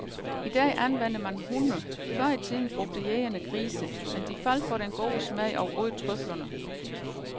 I dag anvender man hunde, før i tiden brugte jægerne grise, men de faldt for den gode smag og åd trøflerne.